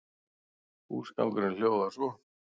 Húsgangurinn hljóðar svo